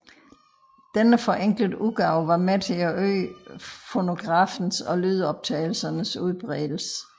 Denne forenklede udgave var med til at øge fonografens og lydoptagelsernes udbredelse